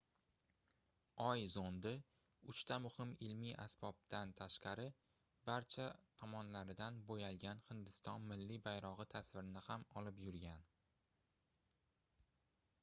oy zondi uchta muhim ilmiy asbobdan tashqari barcha tomonlaridan boʻyalgan hindiston milliy bayrogʻi tasvirini ham olib yurgan